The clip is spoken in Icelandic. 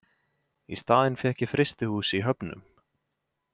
Í staðinn fékk ég frystihús í Höfnum.